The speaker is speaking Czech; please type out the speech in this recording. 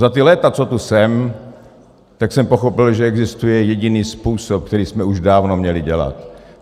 Za ta léta, co tu jsem, tak jsem pochopil, že existuje jediný způsob, který jsme už dávno měli dělat.